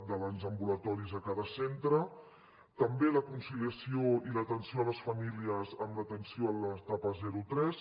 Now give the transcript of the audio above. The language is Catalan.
dels ambulatoris a cada centre també la conciliació i l’atenció a les famílies en l’atenció a l’etapa zero tres